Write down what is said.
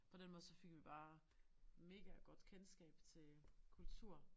På den måde så fik vi jo bare mega godt kendskab til kultur